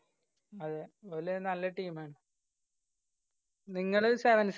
അതെ ഓലയിന് നല്ല team മാണ്. നിങ്ങള് sevens